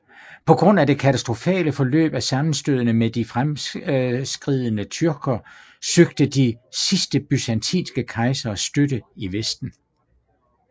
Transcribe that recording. På grund af det katastrofale forløb af sammenstødene med de fremadskridende tyrker søgte de sidste byzantinske kejsere støtte i Vesten